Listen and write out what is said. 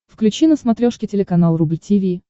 включи на смотрешке телеканал рубль ти ви